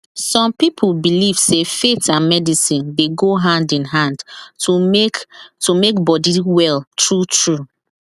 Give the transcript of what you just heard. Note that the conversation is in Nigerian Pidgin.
some people belief sey faith and medicine dey go hand in hand to make to make body well truetrue